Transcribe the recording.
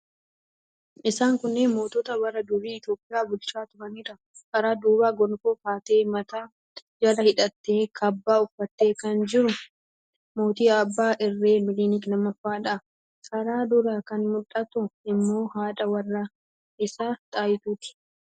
Isaan kunneen mootota bara durii Itiyoophiyaa bulchaa turaniidha. Karaa duubaa gonfoo ka'atee, mataa jala hidhatee, kaabbaa uffatee kan jiru mootii abbaa irree Minilik 2ffaadha. Karaa duraa kan mul'attu immoo haadha warraa isaa Xaayituudha.